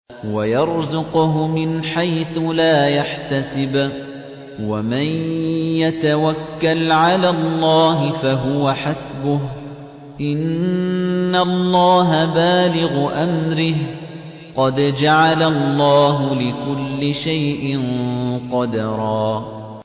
وَيَرْزُقْهُ مِنْ حَيْثُ لَا يَحْتَسِبُ ۚ وَمَن يَتَوَكَّلْ عَلَى اللَّهِ فَهُوَ حَسْبُهُ ۚ إِنَّ اللَّهَ بَالِغُ أَمْرِهِ ۚ قَدْ جَعَلَ اللَّهُ لِكُلِّ شَيْءٍ قَدْرًا